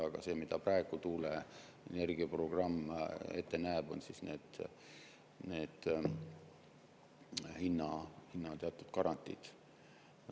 Aga see, mida praegu tuuleenergia programm ette näeb, on teatud hinnagarantiid.